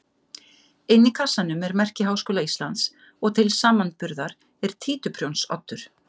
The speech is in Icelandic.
Inni í kassanum er merki Háskóla Íslands og til samanburðar er títuprjónsoddur.